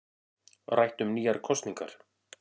Rætt um nýjar kosningar